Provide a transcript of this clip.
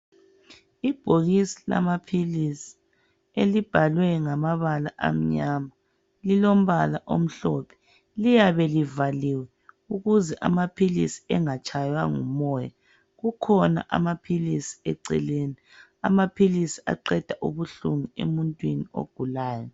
Ibhokisi lamaphilisi elibhalwe ngamabala amnyama lilombala omhlophe. Liyabe livaliwe ukuze amaphilisi engatshaywa ngumoya, kukhona amaphilisi eceleni, amaphilisi aqeda ubuhlungu emuntwini ogulayo.